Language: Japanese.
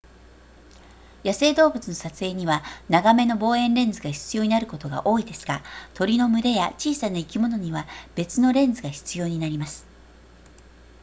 野生動物の撮影には長めの望遠レンズが必要になることが多いですが鳥の群れや小さな生き物には別のレンズが必要になります